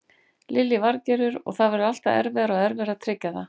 Lillý Valgerður: Og það verður alltaf erfiðara og erfiðara að tryggja það?